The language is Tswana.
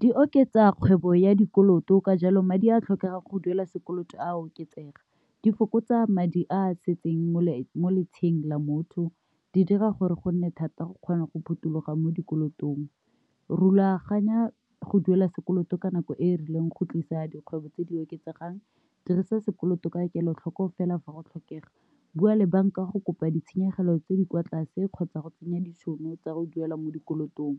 Di oketsa kgwebo ya dikoloto ka jalo madi a a tlhokegang go duela sekoloto a oketsega, di fokotsa madi a setseng mo mo letsheng la motho, di dira gore go nne thata go kgona go phuthuloga mo dikolotong. Rulaganya go duela sekoloto ka nako e e rileng go tlisa dikgwebo tse di oketsegang. Dirisa sekoloto ka kelotlhoko fela fa go tlhokega. Bua le bank-a go kopa ditshenyegelo tse di kwa tlase kgotsa go tsenya ditšhono tsa go duela mo dikolotong.